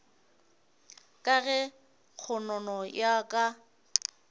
ka ge kgonono ya ka